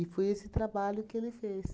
foi esse trabalho que ele fez.